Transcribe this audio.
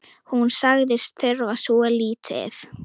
Hún sagðist þurfa svo lítið.